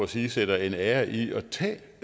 sige sætter en ære i at